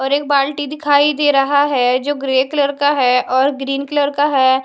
और एक बाल्टी दिखाई दे रहा है जो ग्रे कलर का है और ग्रीन कलर का है।